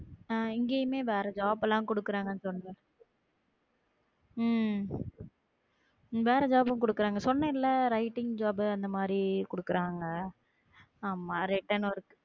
அஹ் எங்கயுமே வேற job லா கொடுக்குறாங்க சொல்லுங்க உம் வேற கொடுக்குறாங்க சொன்னேன்ல writing job அந்த மாதிரி கொடுக்குறாங்க ஆமாம் return work